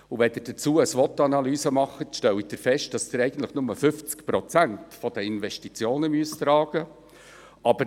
Wenn Sie dazu eine SWOT-Analyse machen, stellen Sie fest, dass Sie eigentlich nur 50 Prozent der Investitionen tragen müssen.